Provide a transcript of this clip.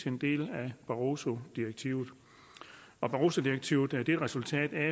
en del af barrosodirektivet og barrosodirektivet er et resultat af